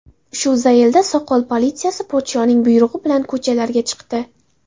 Shu zaylda soqol politsiyasi podshoning buyrug‘i bilan ko‘chalarga chiqdi.